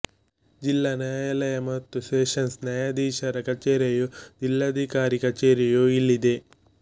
ಜಿಲ್ಲಾ ನ್ಯಾಯಾಲಯ ಮತ್ತು ಸೆಷನ್ಸ್ ನ್ಯಾಯಾಧೀಶರ ಕಚೇರಿಯು ಜಿಲ್ಲಾಧಿಕಾರಿ ಕಚೇರಿಯೂ ಇಲ್ಲಿದೆ